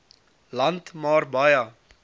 land maar baie